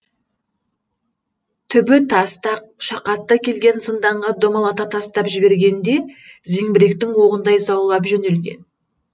түбі тастақ шақатты келген зынданға домалата тастап жібергенде зеңбіректің оғындай заулап жөнелген